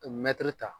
Mɛtiri ta